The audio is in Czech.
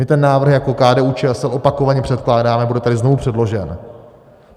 My ten návrh jako KDU-ČSL opakovaně předkládáme, bude tady znovu předložen.